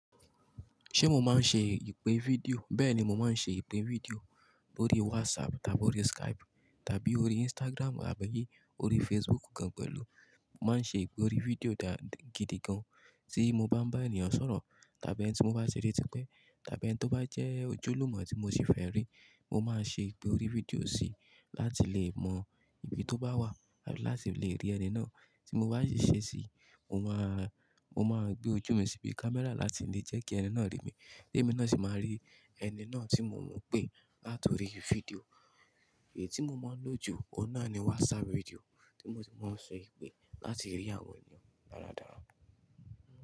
Ṣé mo máa ń ṣe ìpè fídíò? Bẹ́ẹ̀ni, mo máa ń ṣe ìpè fídíò lórí WhatsApp tàbí orí Skype tàbí orí Instagram àbí orí Facebook gan-an pẹ̀lú. Mo máa ń ṣe ìpè orí fídíò dá gidi gan-an tí mo bá ń bá ènìyàn sọ̀rọ̀ tàbí ẹni ti mo bá ti ri tipẹ tàbí ẹni tó bá jẹ́ ojúlùmọ̀ tí mo ṣì fẹ́ rí, mo máa ṣe ìpè orí fídíò sí láti lè mọ ibi tó bá wà láti lè rí ẹni náà. Tí mo bá sì ṣe sí i, mo máa, mo máa gbé ojú mi síbi camera láti lè jẹ́ kí ẹni náà rí mi, èmi náà sì máa rí ẹni náà tí mo ń pè láti orí fídíò. Eyi tí mo máa ń lò jù óun náà ni WhatsApp fídíò tí mo sì máa ń ṣe ìpè láti rí àwọn ènìyàn dáradára.